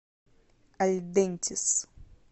альдентис